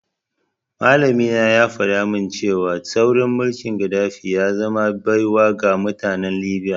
Malamina ya faɗa min cewa tsaurin mulkin Gaddafi ya zama baiwa ga mutanen Libya.